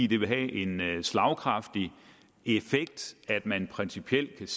det vil have en slagkraftig effekt at man principielt